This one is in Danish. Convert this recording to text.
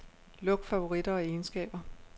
Luk favoritter og egenskaber.